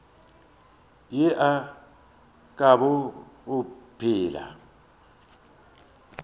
ye e ka bago phela